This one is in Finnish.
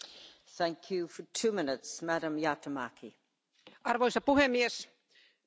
Arvoisa puhemies, parlamentin pitäisi näyttää rahankäytössä esimerkkiä.